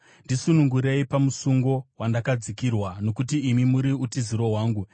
Ndisunungurei pamusungo wandakadzikirwa, nokuti imi muri utiziro hwangu.